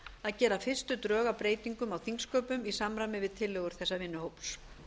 að gera fyrstu drög að breytingum á þingsköpum í samræmi við tillögur þessa vinnuhóps